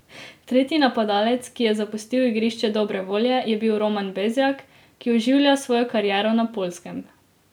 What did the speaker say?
Tretji napadalec, ki je zapustil igrišče dobre volje, je bil Roman Bezjak, ki oživlja svojo kariero na Poljskem.